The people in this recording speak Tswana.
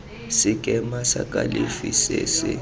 sekema sa kalafi se se